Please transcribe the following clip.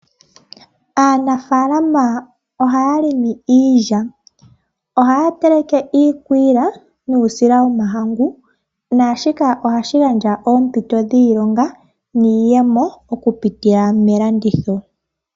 Aanafaalama ohaya longo iilya . Ohaya teleke iikwiila nuusila womahangu , naashika ohashi gandja oompito dhiilonga niiyemo okupitila melanditho.